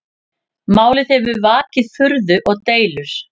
Málið hefur vakið furðu og deilur